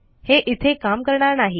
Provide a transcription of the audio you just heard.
हे इथे काम करणार नाही